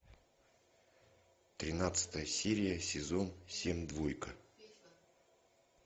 тринадцатая серия сезон семь двойка